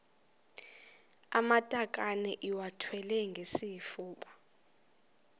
amatakane iwathwale ngesifuba